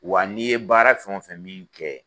Wa n'i ye baara fɛn o fɛn min kɛ